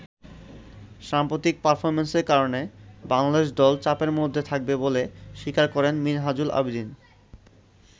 সাম্প্রতিক পারফর্মেন্সের কারণে বাংলাদেশ দল চাপের মধ্যে থাকবে বলে স্বীকার করেন মিনহাজুল আবেদীন।